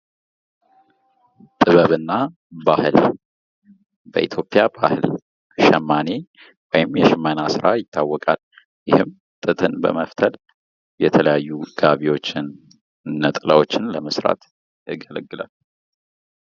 ጥበብና ባህል ፦ በኢትዮጵያ ባህል ሸማኔ ወይም የሽመና ስራ ይታወቃል ። ይህም ጥጥን በመፍተል የተለያዩ ጋቢዎችን ፣ ነጠላዎችን ለመስራት ያገለግላል ።